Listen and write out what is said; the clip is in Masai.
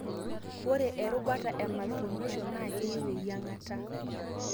ore erubata e malformations na keyieu eyiangata.